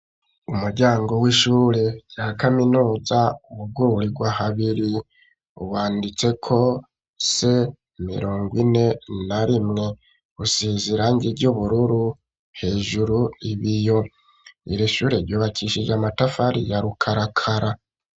Umuryango w'ishure rya kaminuza bugururirwa habiri wanditse ko se mirongo ine na rimwe usizirange ry' ubururu hejuru ibiyo iri shure ry' ubakishije amatafari ya rukarakara.